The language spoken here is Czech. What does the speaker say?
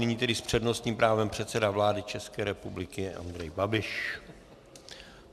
Nyní tedy s přednostním právem předseda vlády České republiky Andrej Babiš.